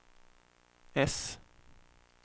S